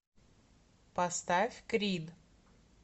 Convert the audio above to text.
поставь крид